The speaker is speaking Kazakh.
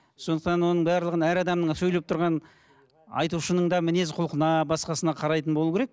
сондықтан оның барлығын әр адамның сөйлеп тұрған айтушының да мінез құлқына басқасына қарайтын болу керек